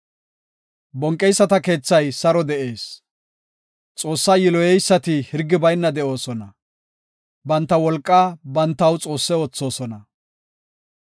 Bonqeyisata keethay saro de7ees; Xoossaa yiloyeysati hirgi bayna de7oosona; banta wolqaa bantaw xoosse oothosona.